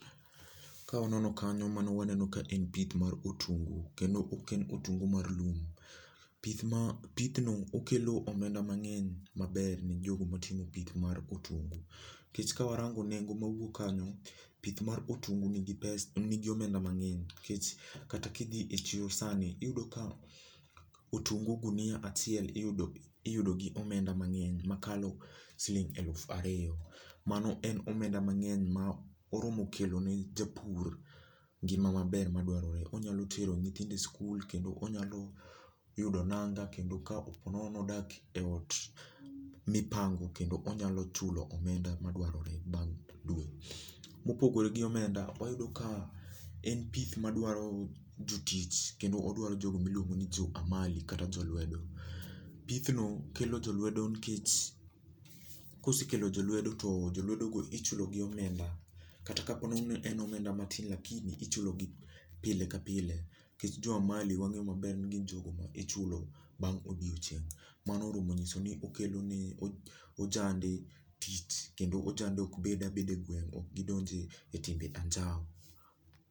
Ka wanono kanyo mano waneno ka en pith mar otungu. Kendo ok en otungu mar lum. Pith ma pith no okelo omenda mang'eny maber ne jogo matimo pith mar otungu. Nikech ka warango nengo mawuok kanyo, pith mar otungu ni gi omenda mang'eny. Nikech kata kidhi e chiro sani iyudo ka otungu gunia achiel iyudo gi omenda mang'eny makalo siling eluf ariyo. Mano en omenda mang'eny ma oromo kelo ne japur ngima maber madwarore. Onyalo tero nyithindo e skul kendo onyalo yudo nanga. Kendo ka po nono ni odak e ot mipango kendo onyalo chulo omenda madwarore bang' dwe. Mopogore gi omenda, oyudo ka en pith madwaro jotich. Kendo odwaro jogo miluongo ni jo amali kata jo lwedo. Pith no kelo jolwedo. Kosekelo jolwedo to jolwedo go ichulogi omenda. Kata ka po ni en omenda matin lakini ichulogi pile ka pile. Nikech jo amali wang'eyo maber ni gin jogo michulo bang' odiochieng'. Mano oromo nyiso ni okeloni ojande tich kendo ojande ok bed abeda egweng'. Ok gidonje e timbe anjaw.